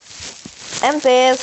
мтс